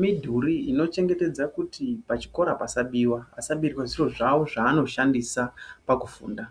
midhuri dzinochengetedza kuti pachikora pasabiwa vasabirwa zviro zvao zvaaoshandisa pakufunda.